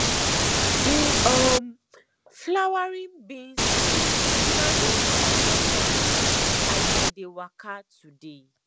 the um flowering beans scent na hin first welcome me as i dey waka today